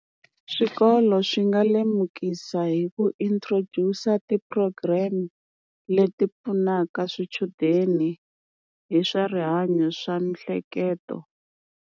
Swikolo swi nga lemukisa hi ku introduce-a ti-program leti pfunaka swichudeni hi swa rihanyo swa miehleketo.